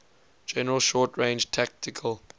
general short range tactical